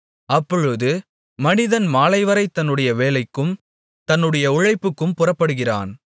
அப்பொழுது மனிதன் மாலைவரை தன்னுடைய வேலைக்கும் தன்னுடைய உழைப்புக்கும் புறப்படுகிறான்